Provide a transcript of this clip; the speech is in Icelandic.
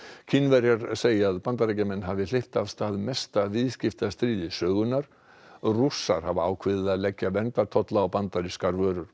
Kínverjar segja að Bandaríkjamenn hafi hleypt af stað mesta viðskiptastríði sögunnar og Rússar hafa ákveðið að leggja verndartolla á bandarískar vörur